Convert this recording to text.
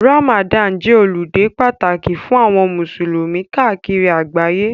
Ramadani jẹ́ ọludé pàtàkì fún àwọn musulumi káàkiri àgbáyé.